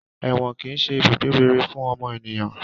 Èwọ̀n kìí ṣe ibùgbé rere fún ọmọ ènìyàn